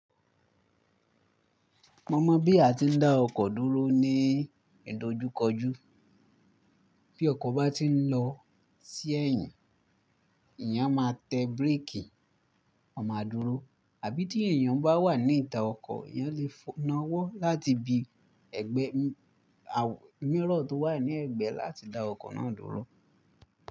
Mo mọ̀ bí a ti ń dá ọkọ̀ dúró ní ìdojúkọjú. Bí ọkọ̀ bá ti ń lọ sí ẹ̀yìn, èyàn máa tẹ break, ó máa dúró. Àbí tí èyàn bá wà ní ìta ọkọ̀, eyán lè nàwọ́ láti bi ẹgbẹ́ àwọn mirror tó wà ní ẹgbẹ́ láti dá ọkọ̀ náà dúró.